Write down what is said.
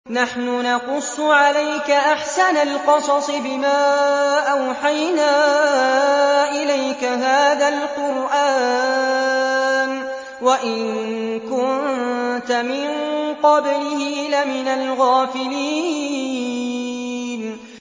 نَحْنُ نَقُصُّ عَلَيْكَ أَحْسَنَ الْقَصَصِ بِمَا أَوْحَيْنَا إِلَيْكَ هَٰذَا الْقُرْآنَ وَإِن كُنتَ مِن قَبْلِهِ لَمِنَ الْغَافِلِينَ